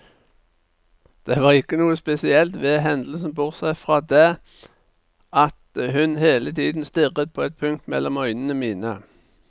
Det var ikke noe spesielt ved hendelsen, bortsett fra det at hun hele tiden stirret på et punkt mellom øynene mine.